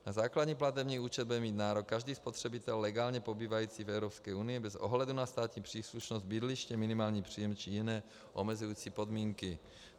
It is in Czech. Na základní platební účet bude mít nárok každý spotřebitel legálně pobývající v Evropské unii bez ohledu na státní příslušnost, bydliště, minimální příjem či jiné omezující podmínky.